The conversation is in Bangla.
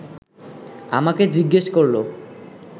আমাকে জিজ্ঞেস করল